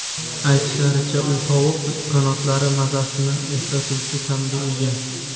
Aytishlaricha, u tovuq qanotlari mazasini eslatuvchi ta’mga ega.